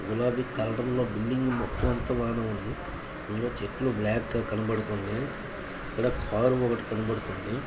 .Colour ఉంది చెట్లు black గ కనబడ్తున్నాయి ఇక్కడ కార్ ఒక్కటీ కనబడుతుంది.